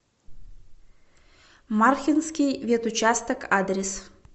мархинский ветучасток адрес